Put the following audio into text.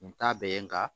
U ta bɛ ye nka